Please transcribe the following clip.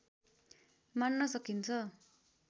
मान्न सकिन्छ